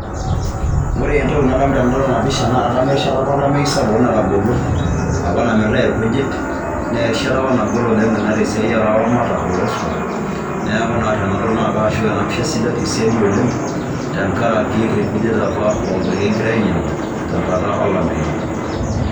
Ore entoki nadamu tenadol ena pisha naa kadamu erishata apa olameyu sapuk oleng' natagolo apa namiritai irkujit nee erishata apa nagol oleng' ina te siai o laramatak looswam. Neeku naa tenadol nashuk ena pisha siadi oleng' tenkaraki irkujit apa liking'ira ainyang'u tenkata olameyu.